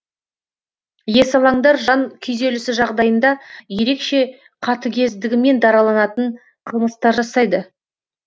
есалаңдар жан күйзелісі жағдайында ерекше қатігездігімен дараланатын қылмыстар жасайды